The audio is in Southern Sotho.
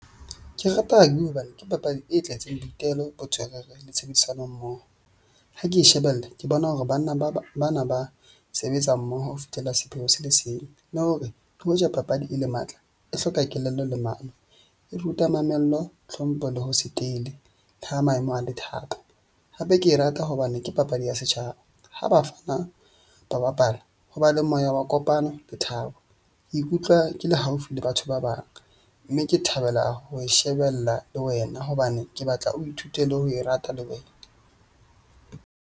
Ke rata rugby hobane ke papadi e tletseng boitelo bo le tshebedisano mmoho. Ha ke shebelle ke bona hore banna bana ba sebetsa mmoho ho fihlela sepheo se le seng. Le hore hoja papadi e le matla, e hloka kelello le mano, e ruta mamello, hlompho le ho se tele ha maemo a le thata. Hape ke e rata hobane ke papadi ya setjhaba. Ha bafana ba bapala ho ba le moya wa kopana le thabo. Ke ikutlwa ke le haufi le batho ba bang, mme ke thabela ho e shebella le wena hobane ke batla o ithutele le ho e rata le wena.